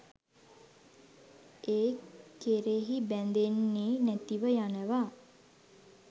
ඒ කෙරෙහි බැඳෙන්නෙ නැතිව යනවා.